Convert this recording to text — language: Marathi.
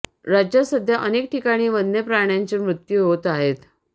राज्यात सध्या अनेक ठिकाणी वन्यप्राण्यांचे मृत्यू होत आहेत